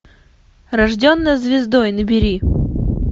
рожденная звездой набери